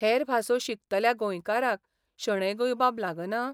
हेर भासो शिकतल्या गोंयकारांक शणै गोंयबाब लागना?